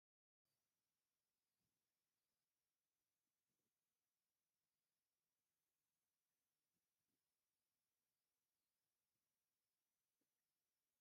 ካብ ላሜራ ዝተሰርሑ ናይ ቤተ ክርስቲያን ጉልላት ብዝተፈላለየ መጠን ብብዝሒ ተሰሪሖም ይርአዩ ኣለዉ፡፡ እዚ ኣብ ምንታይ ዓይነት ትካል እዩ ዝስራሕ?